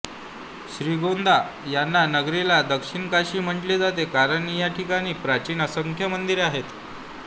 श्रीगोंदा या नगरीला दक्षिण काशी म्हटले जाते कारण या ठिकाणी प्राचीन असंख्य मंदिरे आहेत